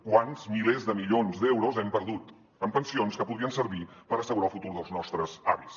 quants milers de milions d’euros hem perdut en pensions que podrien servir per assegurar el futur dels nostres avis